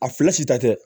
A filɛ si ta tɛ